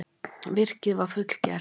Virkið var fullgert.